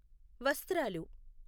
వస్త్రాలు